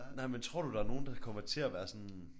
Nej men tror du der er nogen der kommer til at være sådan